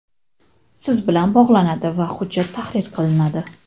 siz bilan bog‘lanadi va hujjat tahrir qilinadi.